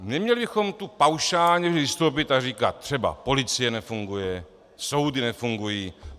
Neměli bychom tu paušálně vystoupit a říkat třeba: policie nefunguje, soudy nefungují.